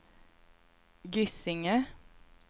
Gysinge